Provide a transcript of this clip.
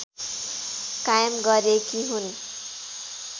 कायम गरेकी हुन्